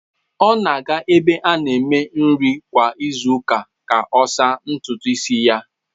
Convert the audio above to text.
Ọ na-aga ebe a na-eme nri kwa izu ụka ka ọ saa ntutu isi ya.